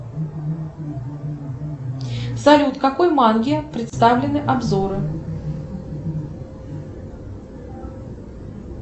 салют какой манги представлены обзоры